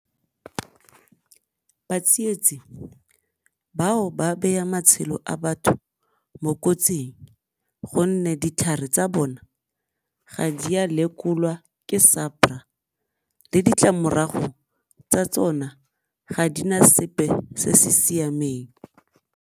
Batsietsi bao ba beya matshelo a batho mo kotsing gonne ditlhare tsa bona ga di a lekolwa ke le ditlamorago tsa tsona ga di na sepe se se siameng.